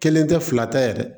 Kelen tɛ fila tɛ yɛrɛ